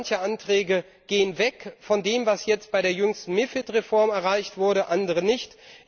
Manche Anträge gehen weg von dem, was jetzt bei der jüngsten MiFID Reform erreicht wurde, andere nicht.